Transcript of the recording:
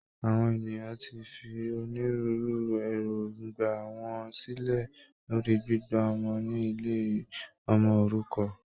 Àwọn ènìyàn tí fi onírúurú èròngbà wọn sílẹ lórí gbígba ọmọ ní ilé ọmọ òrukàn